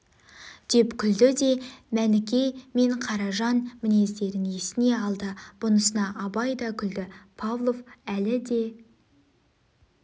деп күлді де мәніке мен қаражан мінездерін есіне алды бұнысына абай да күлді павлов әлі де